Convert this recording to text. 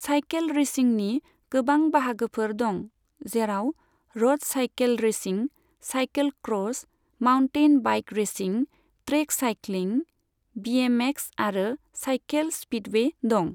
Cycle रेसिंनि गोबां बाहागोफोर दं, जेराव रद cycle racing, cycle cross, mountain bike racing, track cycling, BMX आरो सायखेल स्पिदवे दं।